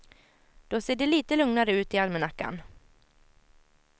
Då ser det lite lugnare ut i almanackan.